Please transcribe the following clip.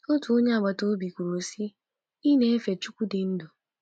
Otu onye agbata obi kwuru sị, ‘ Ị na-efe Chineke dị ndụ.